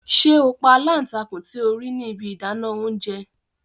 Ṣe o pa alántakùn ti o rii ni ibi idana ounjẹ!